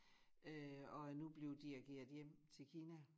Øh og er nu blevet dirigeret hjem til Kina